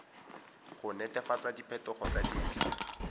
go netefatsa diphetogo tsa dintlha